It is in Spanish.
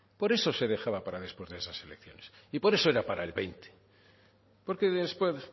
por eso se dejaba para después de esas elecciones y por eso era para el veinte porque después